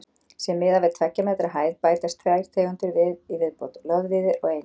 Sé miðað við tveggja metra hæð bætast tvær tegundir við í viðbót: loðvíðir og einir.